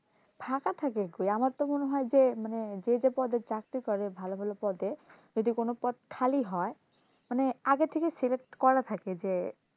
ফাঁকা থাকে কই আমার তো মনে হয় যে মানে যে যে পদে চাকরি করে ভালো ভালো পদে যদি কোনো পদ খালি হয় মানে আগে থেকে select করা থাকে যে,